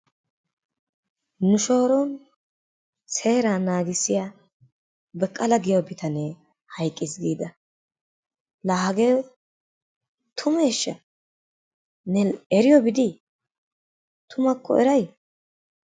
Nu shooron seeraa naagissiya Baqqala giyo bitanne hayqqiis giida laa hagee tummeeshsha? Ne eriyobi dii tummakko eray?